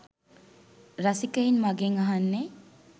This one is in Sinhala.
රසිකයින් මගෙන් අහන්නෙ